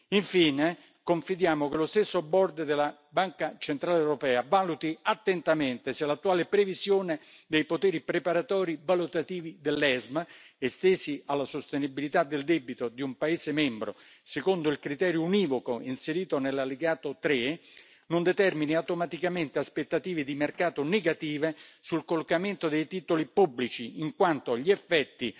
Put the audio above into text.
Infine, confidiamo che lo stesso Board della Banca centrale europea valuti attentamente se l'attuale previsione dei poteri preparatori valutativi dell'ESMA, estesi alla sostenibilità del debito di un paese membro, secondo il criterio univoco inserito nell'allegato 3 non determini automaticamente aspettative di mercato negative sul collocamento dei titoli pubblici, in quanto gli effetti